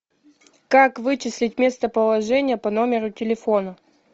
как вычислить местоположение по номеру телефона